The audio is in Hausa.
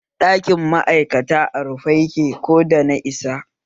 Ɗakin ma'aikata a rufe yake ko da na isa